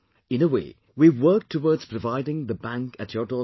In a way we have worked towards providing the bank at your door step